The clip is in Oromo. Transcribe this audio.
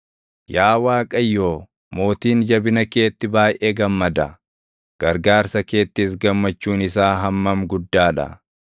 Yaa Waaqayyo, mootiin jabina keetti baayʼee gammada. Gargaarsa keettis gammachuun isaa hammam guddaa dha!